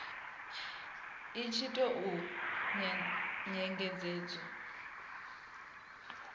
i tshi tou vha nyengedzedzo